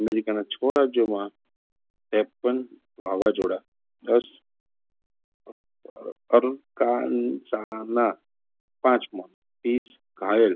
અમેરિકાના છો રાજયોમાં ત્રેપન વાવાઝોડા દસ પાંચ મોત ત્રીશ ઘાયલ